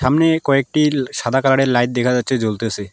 সামনে কয়েকটি সাদা কালারের লাইট দেখা যাচ্ছে জ্বলতেসে।